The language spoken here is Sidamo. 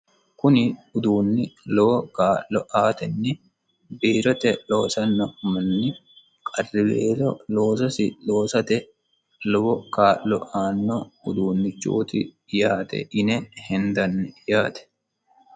Kuni uduunni lowo kaa'lo aatenni biirote loosanno manni qarriweelo loososi loosate lowo kaa'lo aanno uduunichooti yaate yine heniddanni